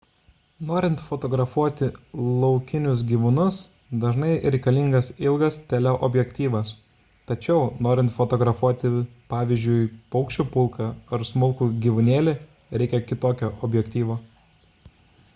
norint fotografuoti laukinius gyvūnus dažnai reikalingas ilgas teleobjektyvas tačiau norint fotografuoti pavyzdžiui paukščių pulką ar smulkų gyvūnėlį reikia kitokio objektyvo